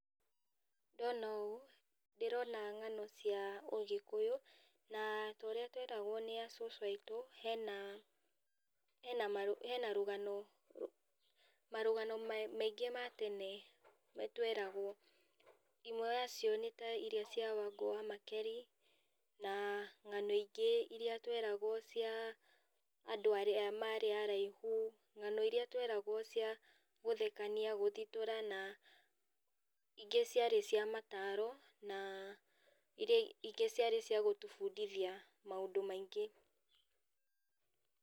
Ndona ũũ, ndĩrona ngano cia ũgĩkũyũ, na torĩa tweragwo nĩ acũcũ aitũ, hena hena marũ rũgano, rũ marũgano me maingĩ matene, tweragwo, ĩmwe yacio nĩ iria cia Wangũ wa Makeri, na ngano ingĩ iria tweragwo cia andũ arĩa marĩ araihu ngano iria tweragwo cia gũthekania, gũthitũra na ingĩ ciarĩ cia mataro, na iria ingĩ ciarĩ cia gũtũbundithia maũndũ maingĩ.